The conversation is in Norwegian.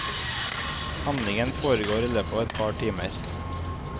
Handlingen foregår i løpet av et par timer.